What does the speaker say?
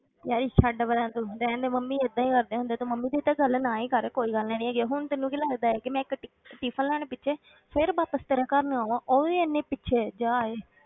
ਛੱਡ ਪਰਾਂ ਤੂੰ ਰਹਿਣ ਦੇ ਮੰਮੀ ਏਦਾਂ ਹੀ ਕਰਦੇ ਹੁੰਦੇ ਤੇ ਮੰਮੀ ਦੀ ਤੇ ਗੱਲ ਨਾ ਹੀ ਕਰ ਕੋਈ ਗੱਲ ਨੀ ਹੈਗੀ, ਹੁਣ ਤੈਨੂੰ ਕੀ ਲੱਗਦਾ ਹੈ ਕਿ ਮੈਂ ਇੱਕ ti~ tiffin ਲੈਣ ਪਿੱਛੇ ਫਿਰ ਵਾਪਸ ਤੇਰੇ ਘਰ ਨੂੰ ਆਵਾਂ, ਉਹ ਵੀ ਇੰਨੀ ਪਿੱਛੇ, ਜਾ ਓਏ